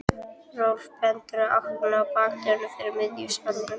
Rolf bendir í áttina að bakdyrunum fyrir miðjum salnum.